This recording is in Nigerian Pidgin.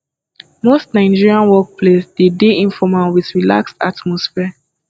most nigerian work place dey de informal with relaxed atmosphere